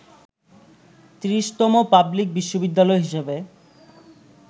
৩০তম public বিশ্ববিদ্যালয় হিসেবে